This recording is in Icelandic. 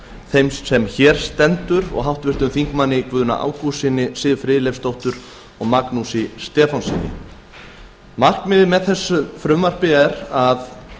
þeim sem hér stendur og háttvirtum þingmönnum guðna ágústssyni siv friðleifsdóttur og magnúsi stefánssyni markmiðið með frumvarpinu er að